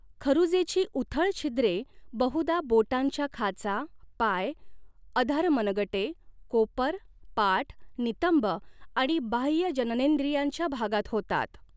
खरुजेची उथळ छिद्रे बहुधा बोटांच्या खाचा, पाय, अधर मनगटे, कोपर, पाठ, नितंब आणि बाह्य जननेंद्रियांच्या भागात होतात.